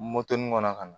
Moto nin kɔnɔ ka na